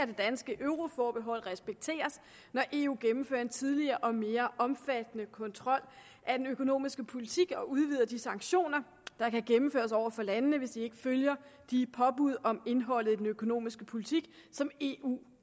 det danske euroforbehold respekteres når eu gennemfører en tydeligere og mere omfattende kontrol af den økonomiske politik og udvider de sanktioner der kan gennemføres over for landene hvis de ikke følger de påbud om indholdet af den økonomiske politik som eu